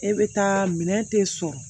E bɛ taa minɛn tɛ sɔrɔ